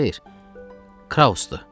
Xeyr, Krausdur.